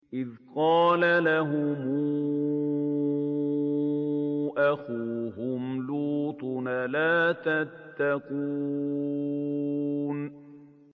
إِذْ قَالَ لَهُمْ أَخُوهُمْ لُوطٌ أَلَا تَتَّقُونَ